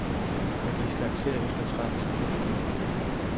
Der gives karakter efter trettenskalaen.